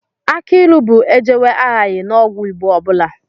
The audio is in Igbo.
Akị ilu bụ ejewe ahaghị n'ọgwụ Igbo ọ bụla